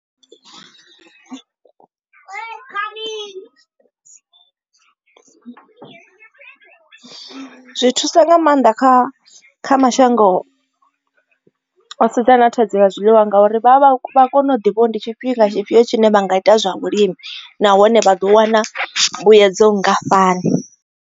Zwi thusa nga maanḓa kha kha mashango o sedzena na thadzio ya zwiḽiwa ngauri vha vha vha vha kone u ḓi vho ndi tshifhinga tshifhio tshine vha nga ita zwa vhulimi nahone vha ḓo wana mbuyedzo nngafhani.